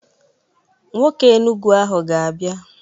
Nwoke Enugu ahụ ga-abia.